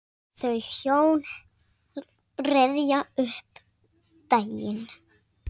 Þau hjón rifja upp daginn.